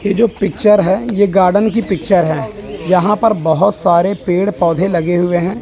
यह जो पिक्चर है ये गार्डन की पिक्चर है यहां पर बहोत सारे पेड़ पौधे लगे हुए हैं।